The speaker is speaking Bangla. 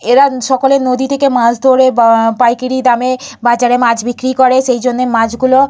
এরা সকলে নদী থেকে মাছ ধরে বা পাইকারি দামে বাজারে মাছ বিক্রি করে। সেইজন্য মাছগুলো--